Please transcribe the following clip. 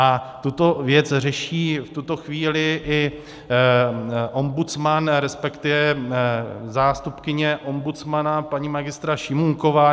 A tuto věc řeší v tuto chvíli i ombudsman, respektive zástupkyně ombudsmana paní magistra Šimůnková.